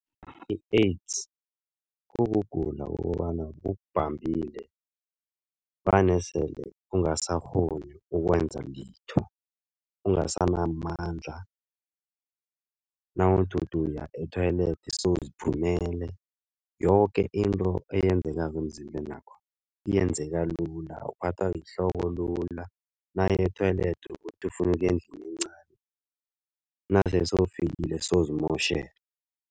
I-AIDS, kukugula kokobana kukubambile vane sele ungasakghoni ukwenza litho. Ungasenamandla nawuthi uthi uya e-toilet sewuziphumele. Yoke into eyenzekako emzimbenakho yenzeka lula, uphathwa yihloko lula. Nawuya e-toilet, uthi ufuna ukuya endlini encani nasele sewufikile sewuzimotjhele.